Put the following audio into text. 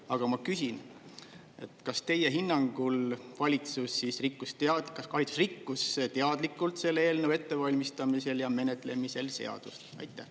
Aga ma küsin, kas teie hinnangul valitsus rikkus teadlikult selle eelnõu ettevalmistamisel ja menetlemisel seadust?